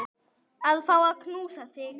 Að fá að knúsa þig.